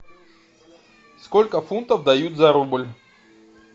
сколько фунтов дают за рубль